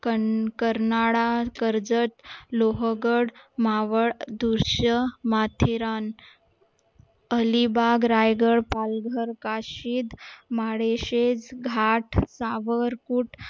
कर्नाळा, कर्जत, लोहगड, मावळदृश्य, माथेरान, अलिबाग, रायगड, पालघर, काशीद, माळशेज घाट